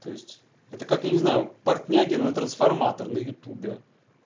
то есть это как я не знаю портняги на трансформатор на ютубе